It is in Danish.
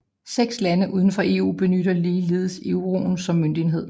Seks lande udenfor EU benytter ligeledes euroen som møntenhed